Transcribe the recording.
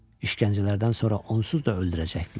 İşkəncələrdən sonra onsuz da öldürəcəkdilər.